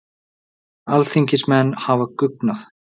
Alþingismenn hafa guggnað